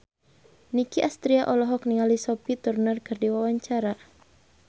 Nicky Astria olohok ningali Sophie Turner keur diwawancara